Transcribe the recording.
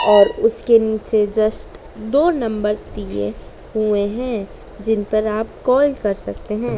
और उसके नीचे जस्ट दो नंबर दिए हुए हैं जिनपर आप कॉल कर सकते है।